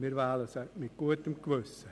Wir wählen sie mit gutem Gewissen.